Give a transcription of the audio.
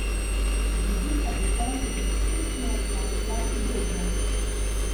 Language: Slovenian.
Z vidika duhovne izkušnje pa velja podobno.